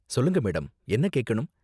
சொல்லுங்க மேடம், என்ன கேக்கணும்?